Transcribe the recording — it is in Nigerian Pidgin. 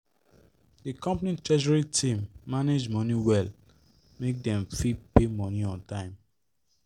the company treasury team manage money well make dem fit pay money on time